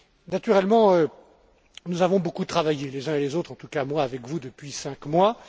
Naturellement, nous avons beaucoup travaillé les uns et les autres, en tout cas moi avec vous, depuis cinq mois.